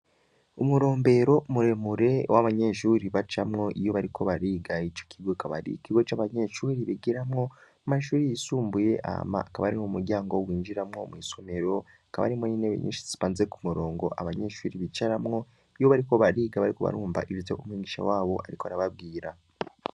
Umurombero muremure w'abanyeshuri bajamwo iyo bariko bariga ico kigwe akabari ikigo c'abanyeshuri ribigiramwo mashuri yisumbuye ama akabari mu muryango w' winjiramwo mw'isomero akaba arimwo n'inebe nyinshi tsimanze ku murongo abanyeshuri bicaramwo iyo bariko bariga barikubarumba ivyo umwingisha wabo, ariko arababwira.